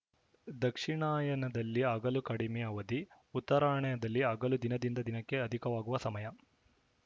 ದಕ್ಷಿಣಾಯನದಲ್ಲಿ ಹಗಲು ಕಡಿಮೆಯ ಅವಧಿ ಉತ್ತರಾಯಣದಲ್ಲಿ ಹಗಲು ದಿನದಿಂದ ದಿನಕ್ಕೆ ಅಧಿಕವಾಗುವ ಸಮಯ